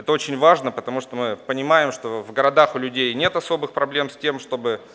это очень важно потому что мы понимаем что в городах у людей нет особых проблем с тем чтобы